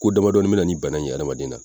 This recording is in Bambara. Ko damadɔnin bɛna ni bana in ye adamaden na.